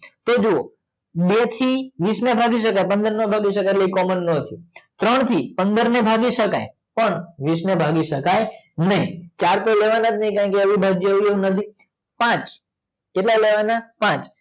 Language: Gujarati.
તો જોવો બે થી વીસ ને ભગી સકે પંદર ને નો ભાગી સકે એટલે ઈ કોમોન ના થયું ત્રણ થી પંદર ને ભાગી સકે પણ વીસ ને ભાગી સકે ને ચાર તો લેવા ના જ ને કેમકે અવિભાજ્ય અવયવો નથી પાંચ કેટલા લેવાના પાંચ